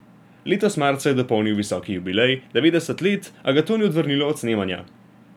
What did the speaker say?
Letos marca je dopolnil visoki jubilej, devetdeset let, a ga to ni odvrnilo od snemanja.